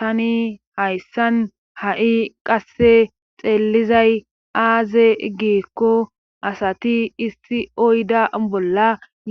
tani hayssan ha7i qasse xeellizay aaze giikko asati isti oyda bolla